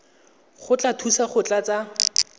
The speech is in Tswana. tla go thusa go tlatsa